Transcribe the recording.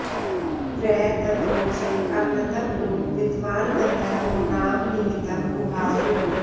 प्र तद्वो॑चे अ॒मृतं॒ नु वि॒द्वान्ग॑न्ध॒र्वो नाम॒ निहि॑तं॒ गुहा॑सु